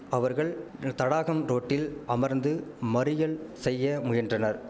அவர்கள் தடாகம் ரோட்டில் அமர்ந்து மறியல் செய்ய முயன்றனர்